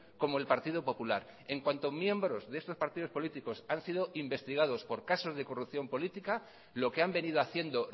como el partido popular en cuanto miembros de estos partidos políticos han sido investigados por casos de corrupción política lo que han venido haciendo